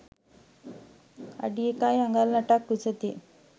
අඩි 1 අඟල් 8 ක් උසැති